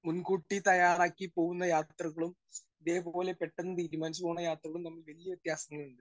Speaker 1 മുൻകൂട്ടി തയ്യാറാക്കി പോകുന്ന യാത്രകളും ദേ പോലെ പെട്ടെന്ന് തീരുമാനിച്ച് പോണ യാത്രകളും തമ്മിൽ വലിയ വ്യത്യാസങ്ങളുണ്ട്.